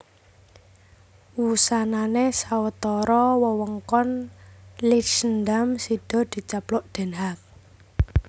Wusanané sawetara wewengkon Leidschendam sida dicaplok Den Haag